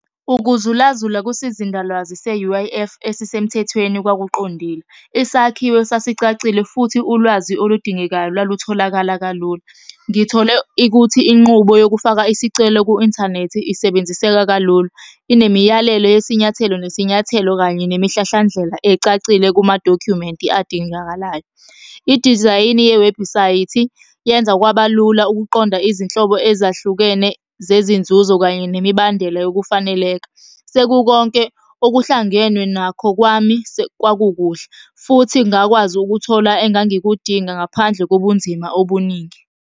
Ukuzulazula kusizindalwazi se-U_I_F esisemthethweni kwakuqondile. Isakhiwo sasicacile futhi ulwazi oludingekayo lwalutholakala kalula. Ngithole ikuthi inqubo yokufaka isicelo ku-inthanethi isebenziseka kalula. Inemiyalelo yesinyathelo nesinyathelo kanye nemihlahlandlela ecacile kumadokhumenti adingakalayo. Idizayini yewebhusayithi yenza kwabalula ukuqonda izinhlobo ezahlukene zezinzuzo kanye nemibandela yokufaneleka. Sekukonke okuhlangenwe nakho kwami kwakukuhle, futhi ngakwazi ukuthola engangikudinga ngaphandle kobunzima obuningi.